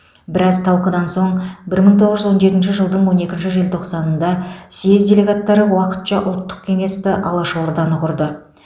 біраз талқыдан соң бір мың тоғыз жүз он жетінші жылдың он екінші желтоқсанында съез делегаттары уақытша ұлттық кеңесті алаш орданы құрды